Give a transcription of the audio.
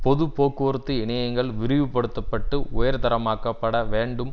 பொது போக்குவரத்து இணையங்கள் விரிவுபடுத்தப்பட்டு உயர்தரமாக்கப்பட வேண்டும்